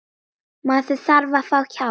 Maður þarf að fá hjálp.